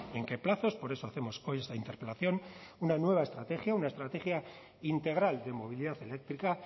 en qué plazos por eso hacemos hoy esta interpelación una nueva estrategia una estrategia integral de movilidad eléctrica